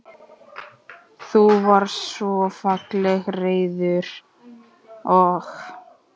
Þú varst svo fallega reiður og.